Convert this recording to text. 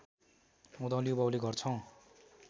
उधौँली उभौँली गर्छौं